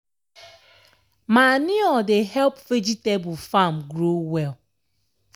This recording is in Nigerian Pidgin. manure dey help vegetable farm grow well.